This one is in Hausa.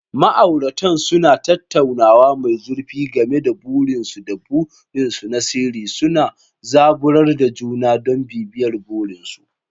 Ma'auratan suna tattaunawa mai zurfi game da burinsu da burinsu na sirri, suna zaburar da juna don bibiyar burinsu.